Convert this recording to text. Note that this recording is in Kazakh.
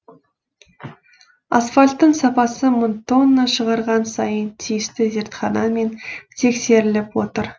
асфальттың сапасы мың тонна шығарған сайын тиісті зертханамен тексеріліп отыр